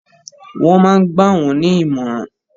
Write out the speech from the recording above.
Wọ́n ma ń gbà wọ́n ní ìmọ̀ràn.